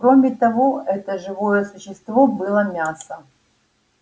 кроме того это живое существо было мясо